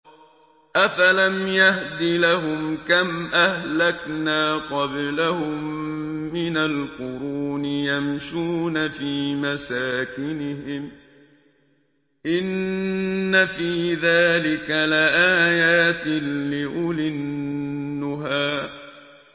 أَفَلَمْ يَهْدِ لَهُمْ كَمْ أَهْلَكْنَا قَبْلَهُم مِّنَ الْقُرُونِ يَمْشُونَ فِي مَسَاكِنِهِمْ ۗ إِنَّ فِي ذَٰلِكَ لَآيَاتٍ لِّأُولِي النُّهَىٰ